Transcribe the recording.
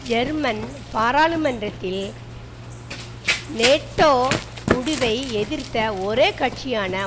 German பாராளுமன்றத்தில் NATO முடிவை எதிர்த்த ஒரே கட்சியான